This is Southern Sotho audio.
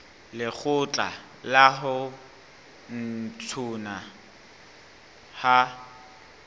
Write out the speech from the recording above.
lekgotla la ho ntshuwa ha